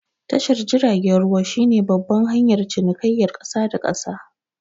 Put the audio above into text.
Tashar jiragen ruwa shi ne babban hanyar cinikayar ƙasa da ƙasa